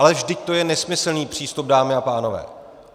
Ale vždyť to je nesmyslný přístup, dámy a pánové.